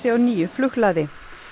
á nýju flughlaði